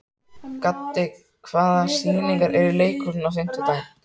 Gaddi, hvaða sýningar eru í leikhúsinu á fimmtudaginn?